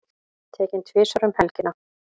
Tekinn tvisvar um helgina